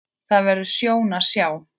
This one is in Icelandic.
Það verður sjón að sjá.